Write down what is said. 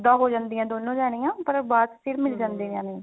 ਜੁਦਾ ਹੋ ਜਾਂਦੀਆਂ ਦੋਨੋ ਜਾਣੀਆ ਫ਼ੇਰ ਬਾਅਦ ਫਿਰ ਮਿਲ